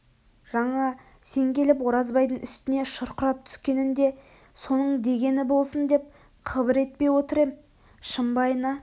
жаңа сен келіп оразбайдың үстіне шұрқырап түскенінде соның дегені болсын деп қыбыр етпей отыр ем шымбайына